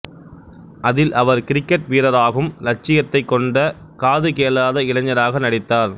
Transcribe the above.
அதில் அவர் கிரிக்கெட் வீரராகும் இலட்சியத்தைக் கொண்ட காதுகேளாத இளைஞராக நடித்தார்